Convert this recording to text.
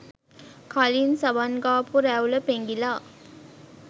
කලින් සබන් ගාපු රැවුල පෙඟිල